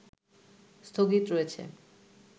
স্থগিত রয়েছে